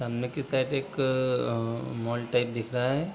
सामने की साइड एक अ मॉल टाइप दिख रहा है।